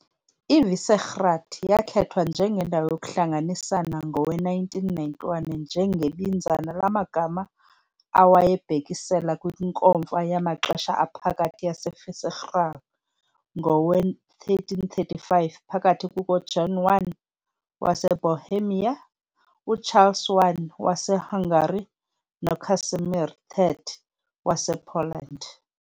IVisegrád yakhethwa njengendawo yokuhlanganisana ngowe-1991 njengebinzana lamagama awayebhekisela kwiNkomfa yamaxesha aphakathi yaseVisegrád ngowe-1335 phakathi kukaJohn I waseBohemia, uCharles I waseHungary noCasimir III wasePoland.